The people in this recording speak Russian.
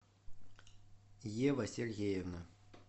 ева сергеевна